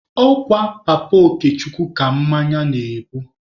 Ọ kwa Papa Okechukwu ka mmanya na-ebu.